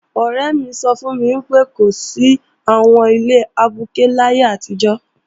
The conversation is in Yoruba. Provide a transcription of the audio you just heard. Ọ̀rẹ́ mi sọ fún mi pé, kò sí àwọn ilé abuké láyé àtijọ́